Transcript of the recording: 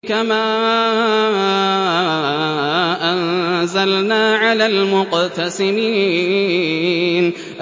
كَمَا أَنزَلْنَا عَلَى الْمُقْتَسِمِينَ